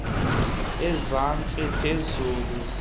ezantsi phezulu lusiya